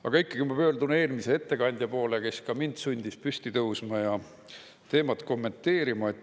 Aga ikkagi ma pöördun eelmise ettekandja poole, kes ka mind sundis püsti tõusma ja teemat kommenteerima.